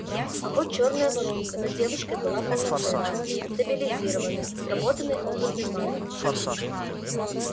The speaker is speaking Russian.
а вот чёрная воронка над девушкой была полноценной стабилизированной сработанной опытным магом